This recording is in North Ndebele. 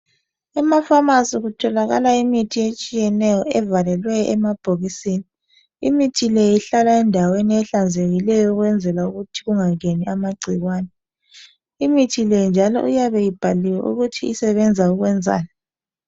Ema pharmacy kutholakala imithi etshiyeneyo evalelwe emabhokisini imithi le ihlala endaweni ehlanzekileyo ukwenzela ukuthi kungangeni amagcikwane , imithi le njalo iyabe ibhaliwe ukuthi usebenza ukwenzani.